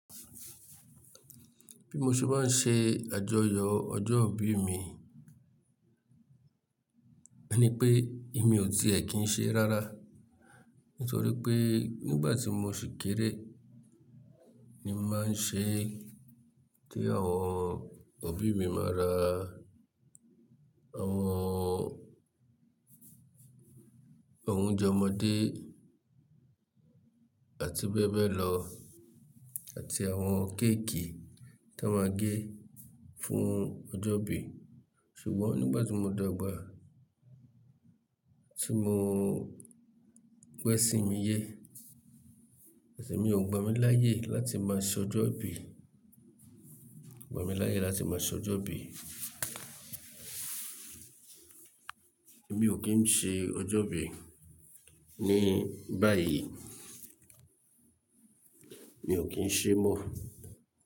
Bí mo ṣe bá ń ṣe àjọyọ̀ ọjọ́ ìbí mi, ẹni pé èmi ò tiẹ̀ kí n ṣe rárá. Nítorí pé nígbà tí mo ṣì kéré ni mo máa ń ṣe kí àwọn òbí mi máa ra àwọn, àwọn oúnjẹ ọmọdé àti bẹ́ẹ̀ bẹ́ẹ̀ lọ, àti àwọn kéékì ti wọn máa gé fún ọjọ́ ìbí. Ṣùgbọ́n nígbà tí mo dàgbà tí mo gbọ ẹ̀sì mi yé, ẹsi mi ò gbà mí láyè láti máa ṣe ọjọ́ ìbí, gbà mí láyè láti máa ṣe ọjọ́ ìbí. Èmi ò kí ń ṣe ọjọ́ ìbí ní báyìí. Mi ò kí ń ṣe mọ́.